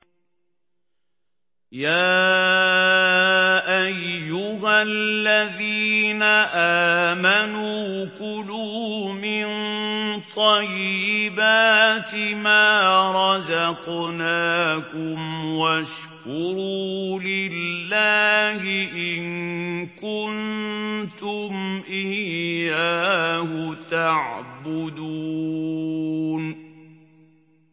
يَا أَيُّهَا الَّذِينَ آمَنُوا كُلُوا مِن طَيِّبَاتِ مَا رَزَقْنَاكُمْ وَاشْكُرُوا لِلَّهِ إِن كُنتُمْ إِيَّاهُ تَعْبُدُونَ